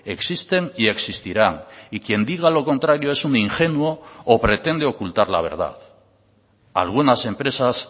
existen y existirán y quien diga lo contrario es un ingenuo o pretende ocultar la verdad algunas empresas